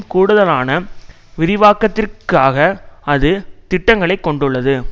கூடுதலான விரிவாக்கத்திற்காக அது திட்டங்களைக் கொண்டுள்ளது